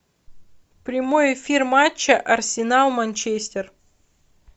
прямой эфир матча арсенал манчестер